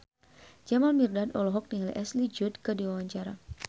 Jamal Mirdad olohok ningali Ashley Judd keur diwawancara